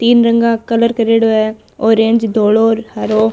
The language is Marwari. तीन रंग का कलर करियोडो है ऑरेंज धोलो र हरो--